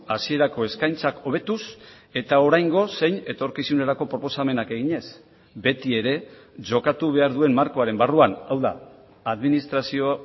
hasierako eskaintzak hobetuz eta oraingo zein etorkizunerako proposamenak eginez beti ere jokatu behar duen markoaren barruan hau da administrazio